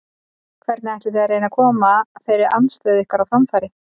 Hvernig ætlið þið að reyna að koma þeirri andstöðu ykkar á framfæri?